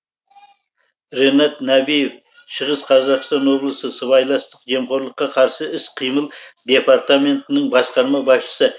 ренат нәбиев шығыс қазақстан облысы сыбайластық жемқорлыққа қарсы іс қимыл департаментінің басқарма басшысы